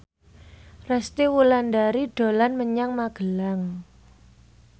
Resty Wulandari dolan menyang Magelang